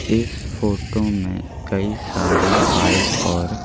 इस फोटो में कई सारी फाइल और--